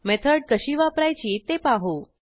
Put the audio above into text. method कशी वापरायची ते पाहू